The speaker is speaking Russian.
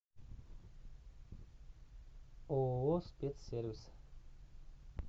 ооо спец сервис